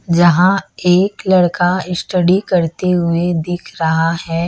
जहां एक लड़का स्टडी करते हुए दिख रहा है।